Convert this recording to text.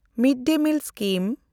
mid-day meal scheme